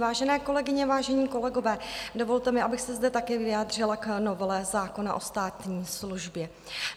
Vážené kolegyně, vážení kolegové, dovolte mi, abych se zde taky vyjádřila k novele zákona o státní službě.